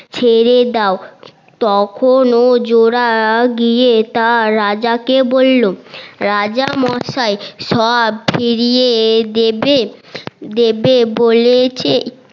ছেড়ে দাও তখনো জোলা গিয়ে তার রাজা কে বললো রাজা মসাই সব ফিরিয়ে দেবে দেবে বলেছে